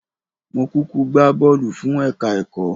Mó kúkú gbá bọ́ọ̀lù fún ẹ̀ka-ẹ̀kọ́